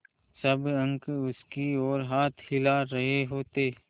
सब अंक उसकी ओर हाथ हिला रहे होते